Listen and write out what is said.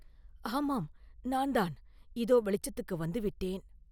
“ஆமாம்; நான் தான் இதோ வெளிச்சத்துக்கு வந்து விட்டேன்.